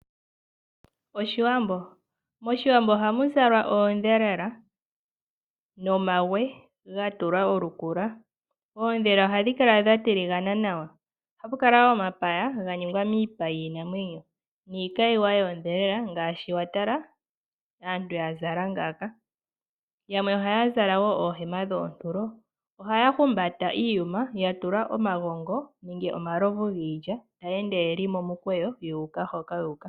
Oshiwambo MOshiwambo ohamu zalwa oondhelela nomihanga dha tulwa efumika. Oondhelela ohadhi kala dha tiligana nawa. Ohapu kala wo omapaya ga ningwa miipa yiinamwenyo niikayiwa yoondhelela. Yamwe ohaya zala wo oohema dhoontulo. Ohaya humbata iiyuma ya tulwa omagongo nenge omalovu giilya, taya ende ye li momukweyo, yu uka hoka yu uka.